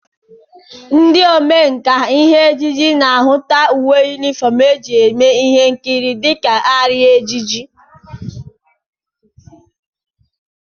Ndị omenkà ihe ejije na-ahụta uwe yunifọm e ji eme ihe nkiri dịka arịa na ejiji